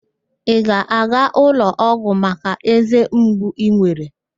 Ị ga-aga ụlọọgwụ maka eze mgbu ị nwere?